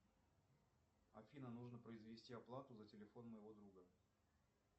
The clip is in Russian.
афина нужно произвести оплату за телефон моего друга